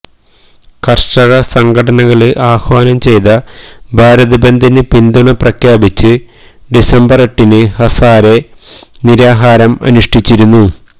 കര്ഷക സംഘടനകള് ആഹ്വാനം ചെയ്ത ഭാരതബന്ദിന് പിന്തുണ പ്രഖ്യാപിച്ച് ഡിസംബര് എട്ടിന് ഹസാരെ നിരാഹാരം അനുഷ്ഠിച്ചിരുന്നു